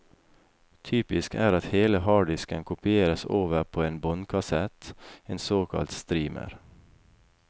Typisk er at hele harddisken kopieres over på en båndkassett, en såkalt streamer.